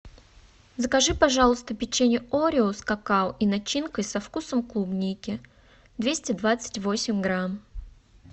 закажи пожалуйста печенье орео с какао и начинкой со вкусом клубники двести двадцать восемь грамм